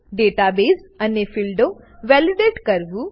database અને ફીલ્ડો validate કરવું